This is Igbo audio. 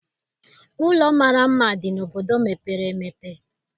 Ụlọ mara mma dị n'obodo mepere emepe.